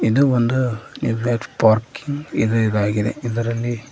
ಇದು ಒಂದು ಪಾರ್ಕಿಂಗ್ ಇದು ಇದಾಗಿದೆ ಇದರಲ್ಲಿ--